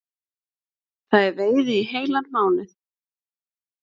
Það er veiði í heilan mánuð